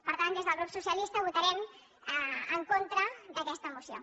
per tant des del grup socialista votarem en contra d’aquesta moció